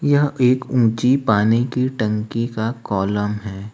यह एक ऊंची पानी की टंकी का कॉलम है।